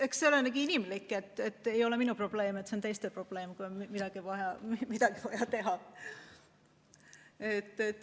Eks see olegi inimlik, et ei ole minu probleem, see on teiste probleem, kui on vaja midagi teha.